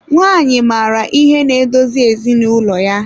Nwanyị maara ihe na-edozi ezinụlọ ya.